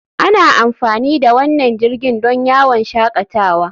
Ana amfani da wannan jirgin don yawon shakatawa.